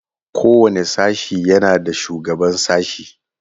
Kowane sashe yana da shugaban sashe.